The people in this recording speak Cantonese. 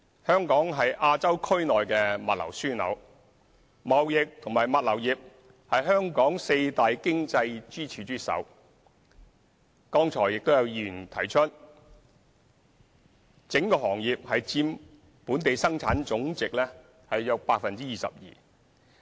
香港是亞洲區內的物流樞紐，貿易及物流業是香港四大經濟支柱之首，剛才有議員提出，整個行業佔本地生產總值約 22%。